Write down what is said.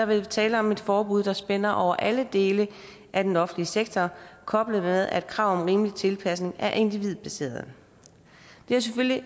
være tale om et forbud der spænder over alle dele af den offentlige sektor koblet med at kravet om rimelig tilpasning er individbaseret det er selvfølgelig